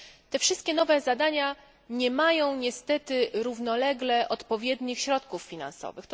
Te wszystkie nowe zadania nie mają niestety równolegle odpowiednich środków finansowych.